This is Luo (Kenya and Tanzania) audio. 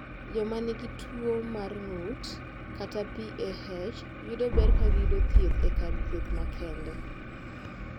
Joma nigi tuwo mar ng’ut (PAH) yudo ber ka giyudo thieth e kar thieth makende.